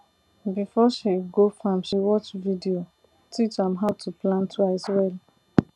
before she go farm she watch video teach am how to plant rice well